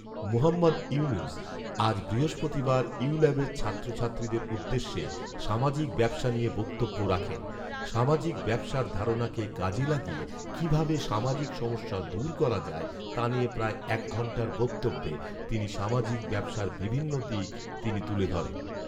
মুহম্মদ ইউনুস আজ বৃহস্পতিবার ইউল্যাবের ছাত্রছাত্রীদের উদ্দেশ্যে সামাজিক ব্যাবসা নিয়ে বক্তব্য রাখেন৷সামাজিক ব্যবসার ধারণাকে কাজে লাগিয়ে কীভাবে সামাজিক সমস্যা দূর করা যায়, তা নিয়ে প্রায় এক ঘণ্টার বক্তব্যে তিনি সামাজিক ব্যবসার বিভিন্ন দিক তিনি তুলে ধরেন